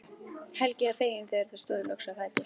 Helgi var feginn þegar þau stóðu loks á fætur.